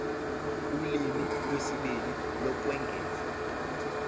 ulimi lwesibili lokwengeza